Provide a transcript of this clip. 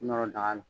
Nɔrɔ daga la